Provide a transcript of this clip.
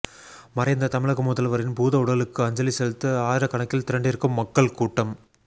மறைந்த தமிழக முதல்வரின் பூதவுடலுக்கு அஞ்சலி செலுத்த ஆயிரக்கணக்கில் திரண்டிருக்கும் மக்கள் கூட்டம்